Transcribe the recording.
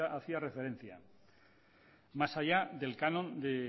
hacía referencia más allá del canon de